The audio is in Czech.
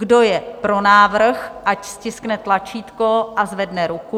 Kdo je pro návrh, ať stiskne tlačítko a zvedne ruku.